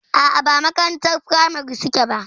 A'a ba makarantar firamari suke zuwa ba.